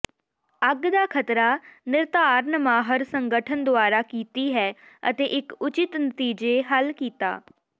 ਅੱਗ ਦਾ ਖ਼ਤਰਾ ਿਨਰਧਾਰਨ ਮਾਹਰ ਸੰਗਠਨ ਦੁਆਰਾ ਕੀਤੀ ਹੈ ਅਤੇ ਇੱਕ ਉਚਿਤ ਨਤੀਜੇ ਹੱਲ ਕੀਤਾ